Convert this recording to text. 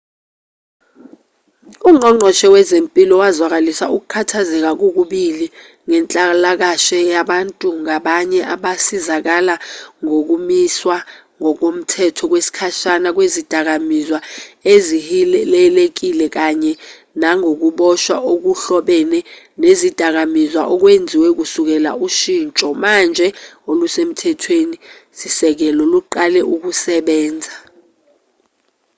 ungqongqoshe wezempilo wazwakalisa ukukhathazeka kokubili ngenhlalakashe yabantu ngabanye abasizakala ngokumiswa ngokomthetho kwesikhashana kwezidakamizwa ezihilelekile kanye nangokuboshwa okuhlobene nezidakamizwa okwenziwe kusukela ushinsho manje olusemthethweni-sisekelo luqale ukusebenza